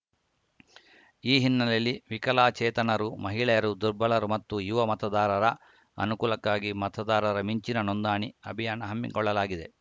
ಈ ಹಿನ್ನೆಲೆಯಲ್ಲಿ ವಿಕಲಾಚೇತನರು ಮಹಿಳೆಯರು ದುರ್ಬಲರು ಮತ್ತು ಯುವ ಮತದಾರರ ಅನುಕೂಲಕ್ಕಾಗಿ ಮತದಾರರ ಮಿಂಚಿನ ನೋಂದಣಿ ಅಭಿಯಾನ ಹಮ್ಮಿಕೊಳ್ಳಲಾಗಿದೆ